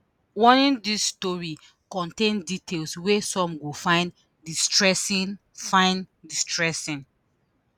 warning: dis story contain details wey some go find distressing. find distressing.